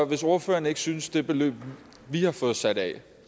hvis ordføreren ikke synes det beløb vi har fået sat af